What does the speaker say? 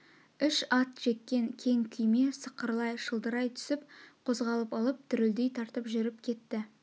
үш ат жеккен кең күйме сықырлай шылдырай түсіп қозғалып алып дүрлдей тартып жүрп кетті